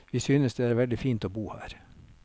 Vi synes det er veldig fint å bo her.